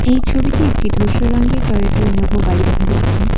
এই ছবিটি একটি ধূসর রঙের টয়েটো ইনোভো গাড়ি দেখা যাচ্ছে।